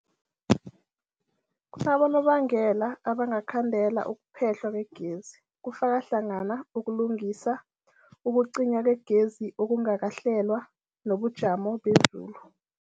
Kunabonobangela abangakhandela ukuphehlwa kwegezi, kufaka hlangana ukulungisa, ukucinywa kwegezi okungakahlelwa, nobujamo bezulu.